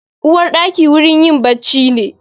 Uwarɗaki wurin yin bacci ne.